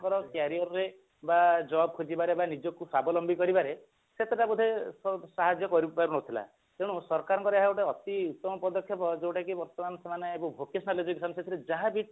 ଙ୍କର career ବା job ଖୋଜିବାରେ ବା ନିଜକୁ ସ୍ବାବଲମ୍ବୀ କରିବାରେ ସେତେଟା ବୋଧେ ସାହାଯ୍ୟ କରି ପାରୁନଥିଲା ତେଣୁ ସରକାରଙ୍କର ଏହା ଗୋଟେ ଅତି ଉତ୍ତମ ଯୋଉଟା କି ବର୍ତ୍ତମାନ ସେମାନେ ଏବେ vocational education ସେଥିରେ ଯାହାବି